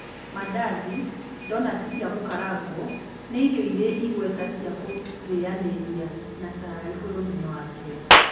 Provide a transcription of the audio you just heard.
Mandathi, ndonati cia gũkarangwo, nĩ irio irĩ igweta cia kũrĩnyanĩria na cai bũrũri-inĩ wa Kenya.